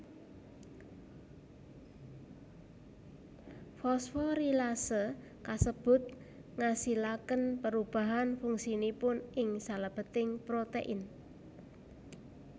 Fosforilasé kasebut ngasilakén pérubahan fungsinipun ing salébéting protèin